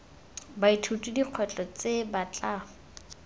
baithuti dikgwetlho tse ba tla